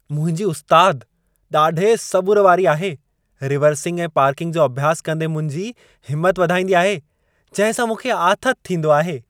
मुंहिंजी उस्तादु ॾाढे सबुर वारी आहे। रिवर्सिंग ऐं पार्किंग जो अभ्यासु कंदे मुंहिंजी हिमत वधाईंदी आहे, जंहिं सां मूंखे आथति थींदो आहे।